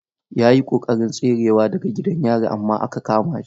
Ya yi ƙoƙarin tserewa daga gidan yari amma aka kama shi.